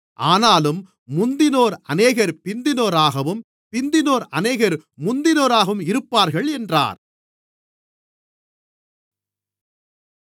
ஆனாலும் முந்தினோர் அநேகர் பிந்தினோராகவும் பிந்தினோர் அநேகர் முந்தினோராகவும் இருப்பார்கள் என்றார்